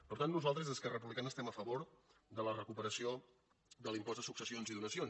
per tant nosaltres esquerra republicana estem a favor de la recuperació de l’impost de successions i donacions